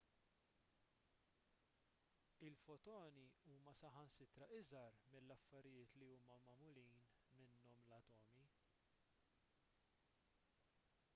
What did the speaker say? il-fotoni huma saħansitra iżgħar mill-affarijiet li huma magħmulin minnhom l-atomi